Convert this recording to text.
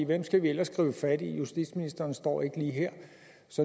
hvem skal vi ellers gribe fat i justitsministeren står ikke lige her